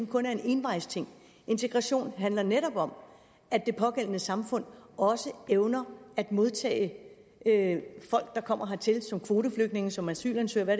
kun er en envejsting integration handler netop om at det pågældende samfund også evner at modtage folk der kommer hertil som kvoteflygtninge som asylansøgere